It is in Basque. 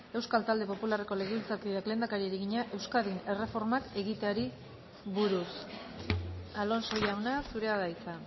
euskal talde popularreko legebiltzarkideak lehendakariari egina euskadin erreformak egiteari buruz alonso jauna zurea da hitza